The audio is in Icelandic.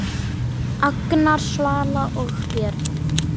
Agnar, Svala og börn.